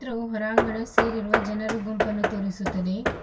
ಹೋರಾಂಗಣ ಸೇರಿರುವ ಜನರ ಗುಂಪನ್ನು ತೋರಿಸುತ್ತದೆ.